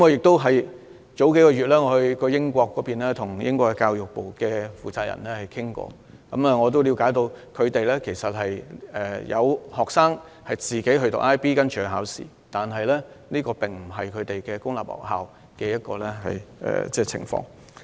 數月前，我曾到訪英國，並與英國教育部負責人面談，我了解到有當地學生自行報讀 IB 課程和參加考試，但當地公立學校沒有教授 IB 課程。